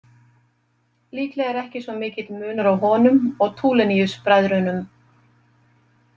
Líklega er ekki svo mikill munur á honum og Tuliniusbræðrunum.